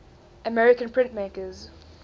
american printmakers